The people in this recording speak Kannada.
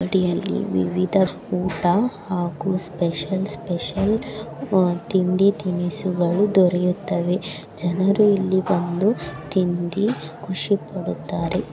ಈ ಅಂಗಡಿಯಲ್ಲಿ ವಿವಿಧ ಬಗೆಯ ಊಟ ಹಾಗು ಸ್ಪೆಷಲ್ ಸ್ಪೆಷಲ್ ತಿಂಡಿ ತಿನಿಸುಗಳು ದೋರುತ್ತವೆ. ಜನರು ಇಲ್ಲಿ ಬಂದು ತಿಂದಿ ಖುಷಿ ಪಡುತ್ತಾರೆ.